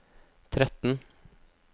tretten